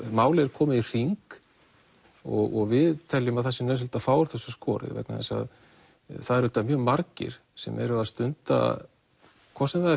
málið er komið í hring og við teljum að það sé nauðsynlegt að fá úr þessu skorið vegna þess að það eru auðvitað mjög margir sem eru að stunda hvort sem það